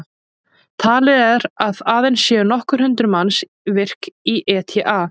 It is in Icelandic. Talið er að aðeins séu nokkur hundruð manns virk í ETA.